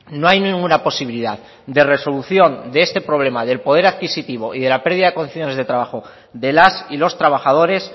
no hay ninguna posibilidad de resolución de este problema del poder adquisitivo y de la pérdida de condiciones de trabajo de las y los trabajadores